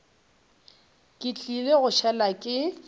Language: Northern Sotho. ke tlile go šala ke